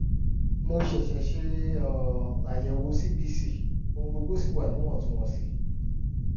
mo ṣẹ̀ṣẹ̀ ṣe um àyẹ̀wò cbc ohun gbogbo sì wà níwọ̀ntúnwọ̀nsì